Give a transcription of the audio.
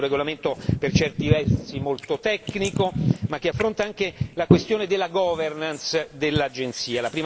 Si tratta di un regolamento per certi versi molto tecnico, ma che affronta anche la questione della governance dell'Agenzia.